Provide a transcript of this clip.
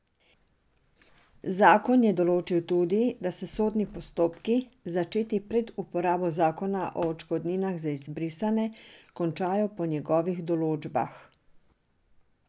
Zakon je določil tudi, da se sodni postopki, začeti pred uporabo zakona o odškodninah za izbrisane, končajo po njegovih določbah.